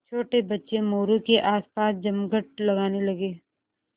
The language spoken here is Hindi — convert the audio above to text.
छोटे बच्चे मोरू के आसपास जमघट लगाने लगे